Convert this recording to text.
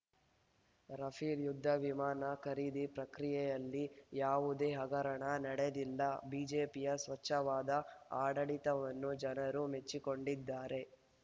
Rafale ಯುದ್ಧ ವಿಮಾನ ಖರೀದಿ ಪ್ರಕ್ರಿಯೆಯಲ್ಲಿ ಯಾವುದೇ ಹಗರಣ ನಡೆದಿಲ್ಲ ಬಿಜೆಪಿಯ ಸ್ವಚ್ಛವಾದ ಆಡಳಿತವನ್ನು ಜನರು ಮೆಚ್ಚಿಕೊಂಡಿದ್ದಾರೆ